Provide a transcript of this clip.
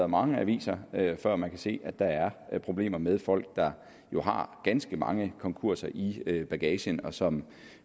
mange aviser før man kan se at der er problemer med folk der har ganske mange konkurser i bagagen og som